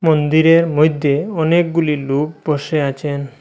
মন্দিরের মইধ্যে অনেকগুলি লোক বসে আছেন।